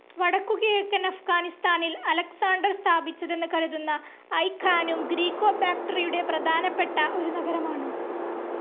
വടക്കുകിഴക്കൻ അഫ്ഗാനിസ്ഥാനിൽ അലക്സാണ്ടർസ്ഥാപിച്ചതെന്ന് കരുതുന്ന ഐ ഖാനും, ഗ്രീക്കോ ബാക്ടറിയരുടെ പ്രധാനപ്പെട്ട ഒരു നഗരമാണ്.